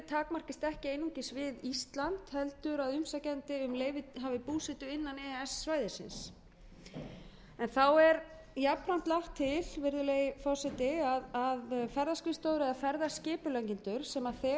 takmarkist ekki einungis við ísland heldur að umsækjandi hafi búsetu innan e e s svæðisins þá er jafnframt lagt til virðulegur forseti að ferðaskrifstofur eða ferðaskipuleggjendur sem þegar hafa leyfi á e e s svæðinu þurfi ekki að sækja um